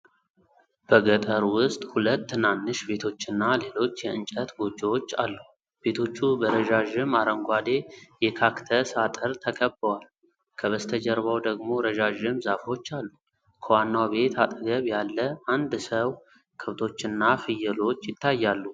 በገጠር ውስጥ ሁለት ትናንሽ ቤቶችና ሌሎች የእንጨት ጎጆዎች አሉ። ቤቶቹ በረዣዥም አረንጓዴ የካክተስ አጥር ተከበዋል፤ ከበስተጀርባው ደግሞ ረዣዥም ዛፎች አሉ። ከዋናው ቤት አጠገብ ያለ አንድ ሰው ከብቶችና ፍየሎች ይታያሉ።